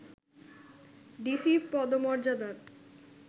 DC পদমর্যাদার